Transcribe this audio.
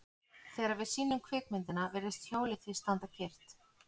Þegar við sýnum kvikmyndina virðist hjólið því standa kyrrt.